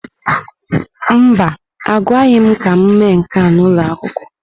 Mba, agwaghị m ka m mee nke a n'ụlọ akwụkwọ.